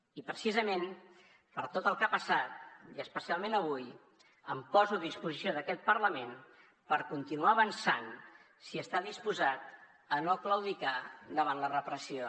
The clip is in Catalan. i precisament per tot el que ha passat i especialment avui em poso a disposició d’aquest parlament per continuar avançant si està disposat a no claudicar davant la repressió